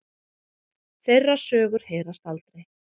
Þeirra sögur heyrast aldrei.